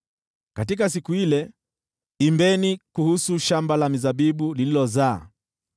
Katika siku ile: “Imbeni kuhusu shamba la mizabibu lililozaa: